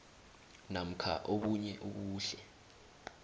namkha obunye ubuhle